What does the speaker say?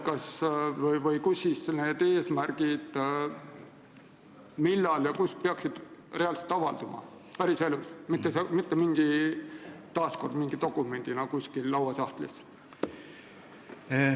Kus ja millal need eesmärgid peaksid reaalselt avalduma – päriselus, mitte taas kord mingi dokumendina lauasahtlis?